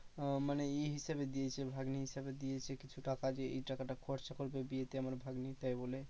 আহ মানে ই হিসাবে দিয়েছে ভাগ্নি হিসাবে দিয়েছে কিছু টাকা যে এই টাকাটা খরচা করবে বিয়েতে আমার ভাগ্নির তাই বলে